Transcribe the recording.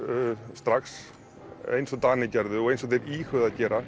strax eins og Danir gerðu og eins og þeir íhuguðu að gera